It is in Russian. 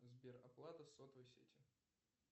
сбер оплата сотовой сети